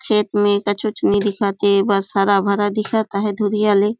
खेत में कछुच नई दिखत हे बस हरा-भरा दिखत हे दूरिहा ले।